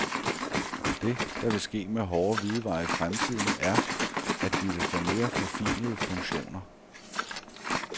Det, der vil ske med hårde hvidevarer i fremtiden, er, at de vil få mere forfinede funktioner.